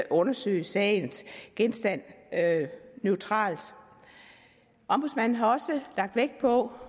undersøge sagens genstand neutralt ombudsmanden har også lagt vægt på